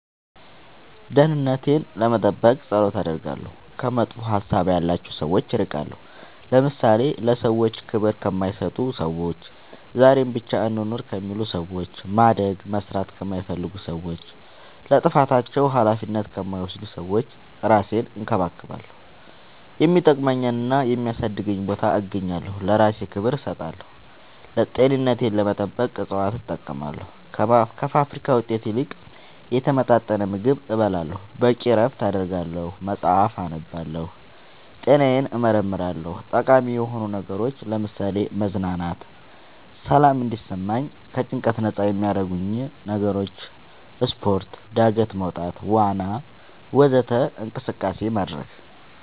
ደህንነቴን ለመጠበቅ ፀሎት አደርጋለሁ ከመጥፎ ሀሳብ ያላቸው ሰዎች እርቃለሁ ለምሳሌ ለሰዎች ክብር ከማይሰጡ ሰዎች ዛሬን ብቻ እንኑር ከሚሉ ሰዎች ማደግ መስራት ከማይፈልጉ ሰዎች ለጥፋታቸው አላፊነት ከማይወስዱ ሰዎች እራሴን እንከባከባለሁ የሚጠቅመኝና የሚያሳድገኝ ቦታ እገኛለሁ ለእራሴ ክብር እሰጣለሁ ጤንነቴን ለመጠበቅ እፅዋት እጠቀማለሁ ከፋብሪካ ውጤት ይልቅ የተመጣጠነ ምግብ እበላለሁ በቂ እረፍት አደርጋለሁ መፅአፍ አነባለሁ ጤናዬን እመረመራለሁ ጠቃሚ የሆኑ ነገሮች ለምሳሌ መዝናናት ሰላም እንዲሰማኝ ከጭንቀት ነፃ የሚያረጉኝ ነገሮች ስፓርት ጋደት መውጣት ዋና ወዘተ እንቅስቃሴ ማድረግ